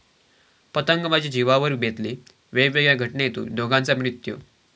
पतंगबाजी जिवावर बेतली, वेगवेगळ्या घटनेत दोघांचा मृत्यू